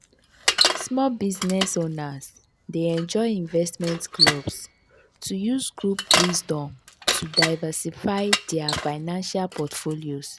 small business owners dey join investment clubs to use group wisdom to diversify dia financial portfolios.